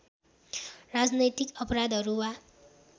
राजनैतिक अपराधहरू वा